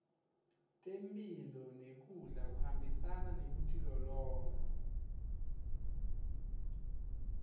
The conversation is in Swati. temphilo nekudla kuhambisana nekutilolonga